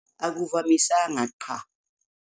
Akuvamisanga, qha.